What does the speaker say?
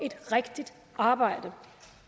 et rigtigt arbejde